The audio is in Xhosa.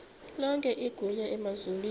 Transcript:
lonke igunya emazulwini